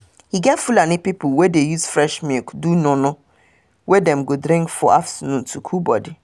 e get fulani people wey dey use fresh milk do nono wey dem go drink for afternoon to cool body